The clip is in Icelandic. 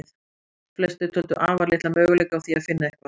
Flestir töldu afar litla möguleika á því finna eitthvað.